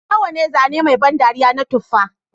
Nawa ne zane mai ban dariya na tufa